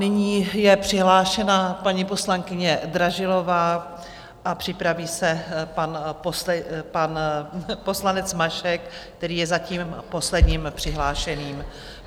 Nyní je přihlášena paní poslankyně Dražilová a připraví se pan poslanec Mašek, který je zatím posledním přihlášeným.